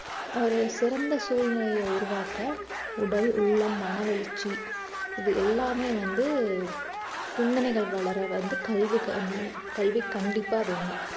ஒரு சிறந்த சூழ்நிலையை உருவாக்க உடல் உள்ளம் மனவளர்ச்சி இது எல்லாமே வந்து சிந்தனைகள் வளர வந்து கல்வி கண்~ கல்வி கண்டிப்பா வேணும்